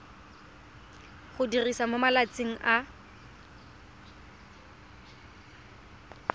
go diriwa mo malatsing a